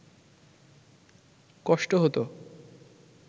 কষ্ট হত